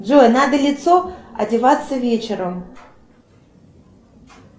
джой надо лицо одеваться вечером